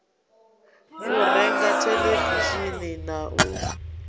u renga theḽevishini na u